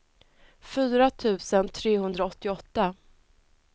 fyra tusen trehundraåttioåtta